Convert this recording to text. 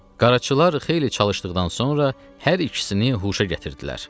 Qaraçılar xeyli çalışdıqdan sonra hər ikisini huşa gətirdilər.